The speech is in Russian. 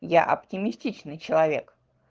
я оптимистичный человек